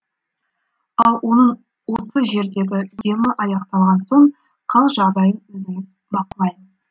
ал оның осы жердегі емі аяқталған соң қал жағдайын өзіміз бақылаймыз